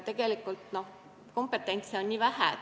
Tegelikult on kompetentsust vähe.